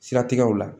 Siratigɛw la